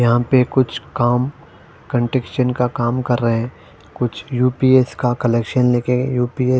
यहां पे कुछ काम कंटेक्शन का काम कर रहे है। कुछ यू_पी_एस का कलेक्शन ले के यू_पी_एस --